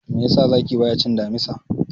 Me yasa zaki bayacin damisa?